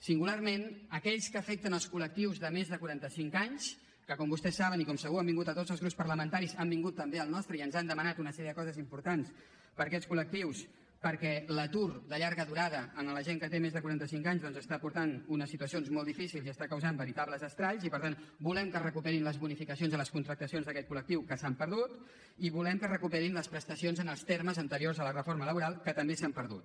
singularment aquells que afecten els col·cinc anys que com vostès saben i com segur que han vingut a tots els grups parlamentaris han vingut també al nostre i ens han demanat una sèrie de coses importants per a aquests col·lectius perquè l’atur de llarga durada en la gent que té més de quaranta cinc anys doncs està portant unes situacions molt difícils i està causant veritables estralls i per tant volem que es recuperin les bonificacions a les contractacions d’aquest colles prestacions en els termes anteriors a la reforma laboral que també s’han perdut